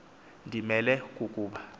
ndi melwe kukuba